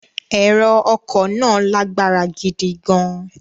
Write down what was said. Ẹ̀rọ ọkọ̀ náà lágbára gidi gan-an.